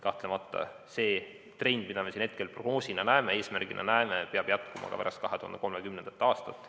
Kahtlemata peab see trend, mida me siin prognoosina, eesmärgina näeme, jätkuma ka pärast 2030. aastat.